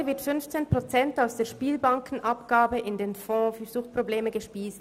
Heute werden 15 Prozent der Spielbankenabgabe in den Fonds für Suchtprobleme gespeist.